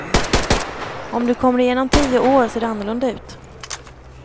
Om du kommer igen om tio år ser det annorlunda ut.